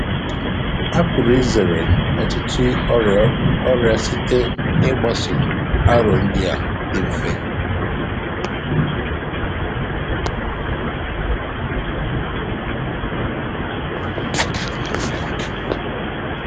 A pụrụ izere ọtụtụ ọrịa ọrịa site n’ịgbaso aro ndị a dị mfe.